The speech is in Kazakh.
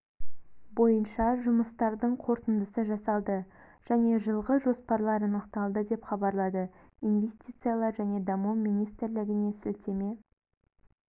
бойынша жұмыстардың қорытындысы жасалды және жылға жоспарлар анықталды деп хабарлады инвестициялар және даму министрлігіне сілтеме